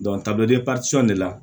ta bɛɛ de la